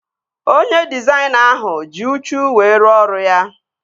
Onye dịzaịna ahụ ji uchu wee ruo ọrụ ya